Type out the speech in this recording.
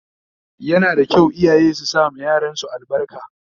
Yana da kyau iyaye su sama yaran su albarka